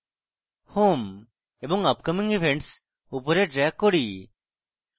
home এবং upcoming events উপরে drag করি